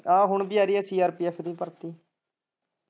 ਆ ਹੁਣ ਵੀ ਆ ਰਹੀ ਹੈ CRPF ਦੀ ਭਰਤੀ।